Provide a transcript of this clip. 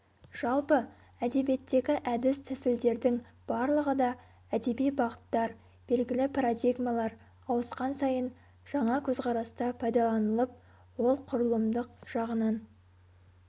жалпы әдебиеттегі әдіс тәсілдердің барлығы да әдеби бағыттар белгілі парадигмалар ауысқан сайын жаңа көзқараста пайдаланылып ол құрылымдық жағынан